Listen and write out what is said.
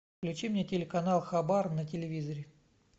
включи мне телеканал хабар на телевизоре